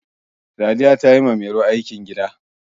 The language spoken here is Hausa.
sadiya ta yi wa mairo aikin gida